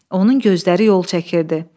Onun gözləri yol çəkirdi.